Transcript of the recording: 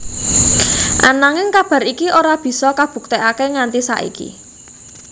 Ananging kabar iki ora bisa kabuktekaké nganti saiki